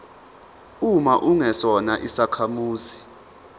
uma ungesona isakhamuzi